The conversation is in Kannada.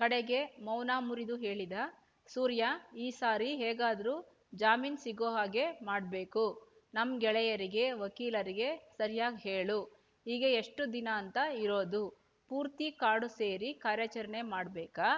ಕಡೆಗೆ ಮೌನ ಮುರಿದು ಹೇಳಿದ ಸೂರ್ಯ ಈ ಸಾರಿ ಹೇಗಾದ್ರೂ ಜಾಮೀನ್ ಸಿಗೋ ಹಾಗೆ ಮಾಡ್ಬೇಕು ನಮ್ ಗೆಳೆಯರಿಗೆ ವಕೀಲರಿಗೆ ಸರ್ಯಾಗ್ ಹೇಳು ಹೀಗೆ ಎಷ್ಟು ದಿನಾಂತ ಇರೋದು ಪೂರ್ತಿ ಕಾಡು ಸೇರಿ ಕಾರ್ಯಾಚರಣೆ ಮಾಡ್ಬೇಕಾ